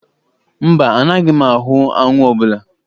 Mba, anaghị m ahụ anwụ ọbụla.